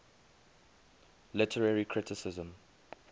literary criticism